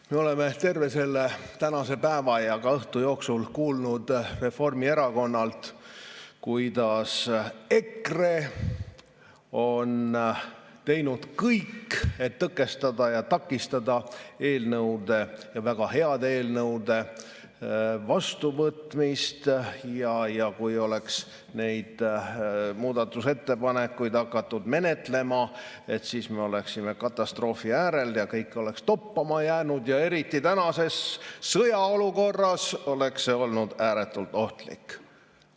Me oleme terve tänase päeva ja õhtu jooksul kuulnud Reformierakonnalt, kuidas EKRE on teinud kõik, et tõkestada ja takistada eelnõude, ja väga heade eelnõude vastuvõtmist ning kui oleks neid muudatusettepanekuid hakatud menetlema, siis me oleksime katastroofi äärel ja kõik oleks toppama jäänud ja eriti tänases sõjaolukorras oleks see olnud ääretult ohtlik.